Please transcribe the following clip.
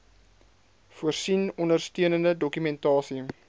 voorsien ondersteunende dokumentasie